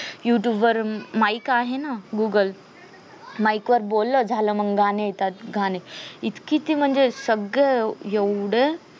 YouTube वर mike आहे ना google mike वर बोललं झालं मग गाणी येतात गाणे म्हणजे इतकी ती सगळ म्हणजे एवढं